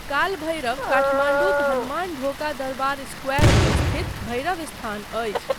कालभैरव काठमाण्डूक हनुमानढोका दरबार स्क्वायरमे स्थित भैरवस्थान अछि।